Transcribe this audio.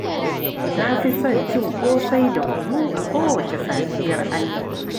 Na fi son cin ƙosai da kunu a kowacce safiyar Allah